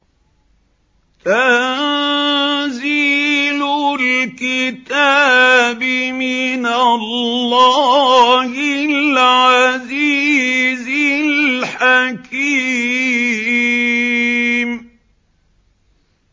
تَنزِيلُ الْكِتَابِ مِنَ اللَّهِ الْعَزِيزِ الْحَكِيمِ